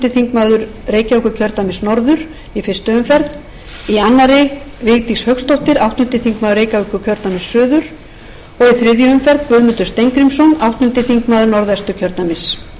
þingmaður reykjavíkurkjördæmis norður í fyrstu umferð í annarri vigdís hauksdóttir áttundi þingmaður reykjavíkurkjördæmis suður og í þriðju umferð guðmundur steingrímsson áttundi þingmaður norðvesturkjördæmis fyrir borgarahreyfinguna tala í fyrstu umferð þór saari níundi